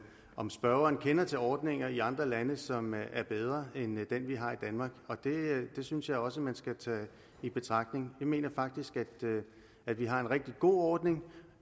om spørgeren kender til ordninger i andre lande som er bedre end den vi har i danmark det synes jeg også man skal tage i betragtning jeg mener faktisk at vi har en rigtig god ordning